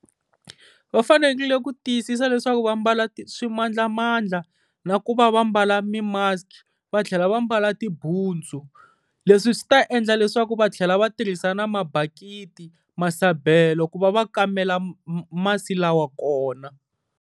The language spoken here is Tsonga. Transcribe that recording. Va fanekele ku tiyisisa leswaku va mbala swimandlamandla na ku va va mbala mi-mask-i, va tlhela va mbala tibutsu. Leswi swi ta endla leswaku va tlhela va tirhisa na mabakiti, masabelo ku va va kamela masi lawa kona.